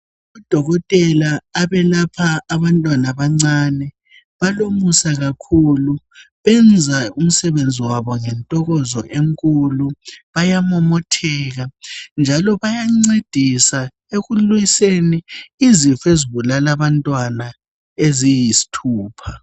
odokotela abelapha abantwana abancane balomusa kakhulu benza umsebenzi wabo ngentokozo enkulu bayamomotheka njalo bayancedisa ekulwiseni ezifo ezibulala abantwana eziyisthupha